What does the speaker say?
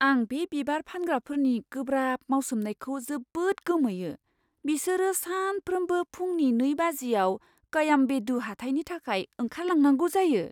आं बे बिबार फानग्राफोरनि गोब्राब मावसोमनायखौ जोबोद गोमोयो, बिसोरो सानफ्रोमबो फुंनि नै बाजियाव कयाम्बेदु हाथाइनि थाखाय ओंखारलांनांगौ जायो।